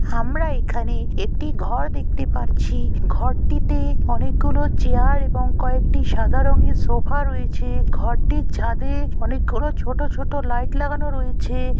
আমরা এখানে একটি ঘর দেখতে পাচ্ছি। ঘরটিতে অনেকগুলি চেয়ার এবং কয়েকটি সাদা রঙের সোফা রয়েছে। ঘরটির ছাদে অনেক গুলো ছোটো ছোটো লাইট লাগানো রয়েছে-এ।